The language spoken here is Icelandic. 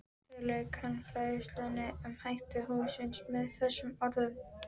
Þar lauk hann fræðslunni um hætti hússins með þessum orðum